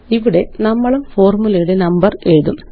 ഇവിടെ നമ്മളും ഫോര്മുലയുടെ നമ്പറെഴുതും